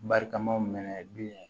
Barikamaw minɛ bilen